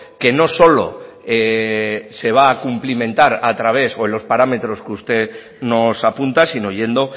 que no solo se va a cumplimentar a través o en los parámetros que usted nos apunta sino yendo